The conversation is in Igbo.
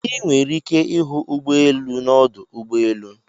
I nwere ike ịhụ ụgbọelu n'ọdụ ụgbọelu.